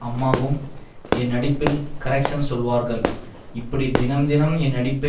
அம்மாவும் என் நடிப்பில் கரெக்ஷ்ன் சொல்வார்கள் இப்படி தினம் தினம் என் நடிப்பை